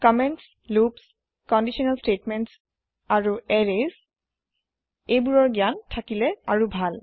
comments loops conditional statements and arrays comment loop conditional স্তেতমেন্তৰ জ্ঞান থাকিলে আৰু ভাল